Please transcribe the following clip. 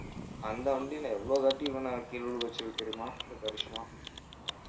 அந்த வண்டியில எவ்வளவு தாட்டி இவனை கீழ விழுக வச்சிருக்கு தெரியுமா அந்த கரிஷ்மா